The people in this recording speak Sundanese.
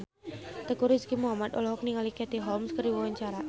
Teuku Rizky Muhammad olohok ningali Katie Holmes keur diwawancara